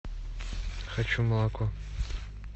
хочу молоко